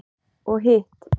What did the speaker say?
Og hitt?